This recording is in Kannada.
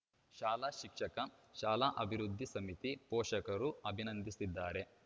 ಶಾಲಾ ಶಿಕ್ಷಕ ಶಾಲಾಭಿವೃದ್ಧಿ ಸಮಿತಿ ಪೋಷಕರು ಅಭಿನಂದಿಸಿದ್ದಾರೆ